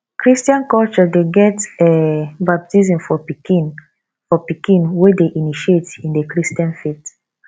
christain culture de get um baptism for pikin for pikin wey de initiate in the christian faith